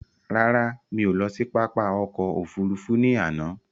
Rárá, mí ò lọ sí pápá ọkò òfurufú ní àná.